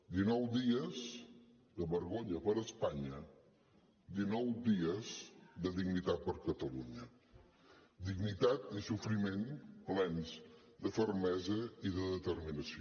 dinou dies de vergonya per a espanya dinou dies de dignitat per a catalunya dignitat i sofriment plens de fermesa i de determinació